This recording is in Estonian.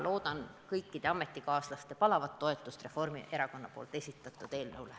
Loodan kõikide ametikaaslaste palavat toetust Reformierakonna esitatud eelnõule.